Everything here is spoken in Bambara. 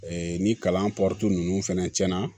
ni kalan ninnu fɛnɛ cɛnna